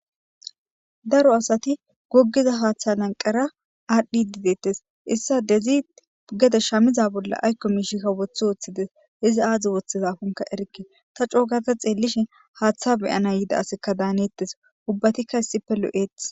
Daro asati gogiza haaththa nanqara aadhdhi didettes issa dezi gede shamiza bolla aykko miishika wotho wooththides izi aadzdzi woththizafunka erke ta cookata xeellishe haaththa beyana yida asekka daaneettes ubbatikka issippe lo'eetes.